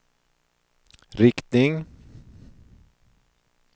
riktning